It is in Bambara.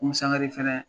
Musaka fɛnɛ